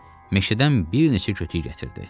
Meşədən bir neçə kütük gətirdi.